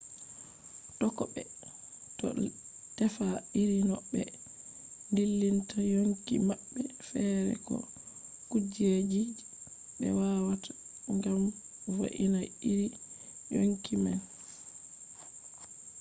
tokkobe do tefa iri no be dillinta yonki mabbe fere ko kujeji je be watta gam vo’ina iri yonki man